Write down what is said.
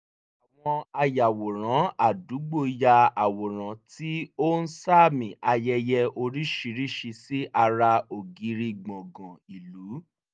àwọn ayàwòrán àdúgbò ya àwòrán tí ó ń sààmì ayẹyẹ oríṣiríṣi sí ara ògiri gbọ̀gán ìlú